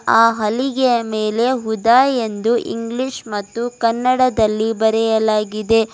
ಆ ಹಲಿಗೆಯ ಮೇಲೆ ಹುದಾ ಎಂದು ಇಂಗ್ಲಿಷ್ ಮತ್ತು ಕನ್ನಡದಲ್ಲಿ ಬರೆಯಲಾಗಿದೆ.